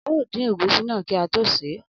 Ao din egusi naa ki o to se e.